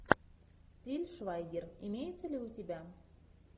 тиль швайгер имеется ли у тебя